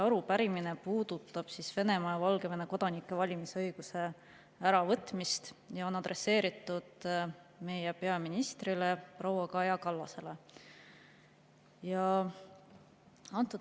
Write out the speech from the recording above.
Arupärimine puudutab Venemaa ja Valgevene kodanikelt valimisõiguse äravõtmist ja on adresseeritud meie peaministrile proua Kaja Kallasele.